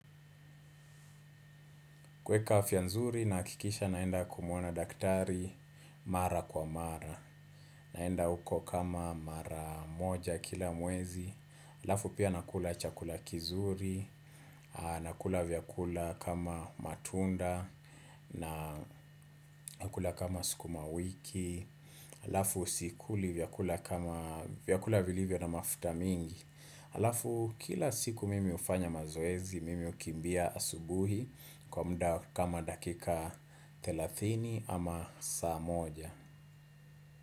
Kuweka afya nzuri nahakikisha naenda kumwona daktari mara kwa mara, naenda huko kama mara moja kila mwezi, halafu pia nakula chakula kizuri, nakula vyakula kama matunda, nakula kama sukuma wiki, halafu sikuli vyakula kama vyakula vilivyo na mafuta mingi. Halafu kila siku mimi hufanya mazoezi, mimi hukimbia asubuhi kwa muda kama dakika thelathini ama saa moja.